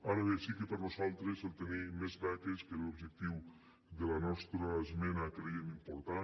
ara bé sí que per a nosaltres tenir més beques que era l’objectiu de la nostra esmena ho creiem important